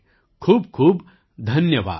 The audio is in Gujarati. ખૂબખૂબ ધન્યવાદ